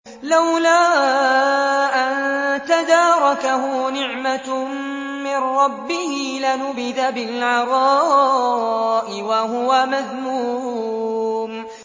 لَّوْلَا أَن تَدَارَكَهُ نِعْمَةٌ مِّن رَّبِّهِ لَنُبِذَ بِالْعَرَاءِ وَهُوَ مَذْمُومٌ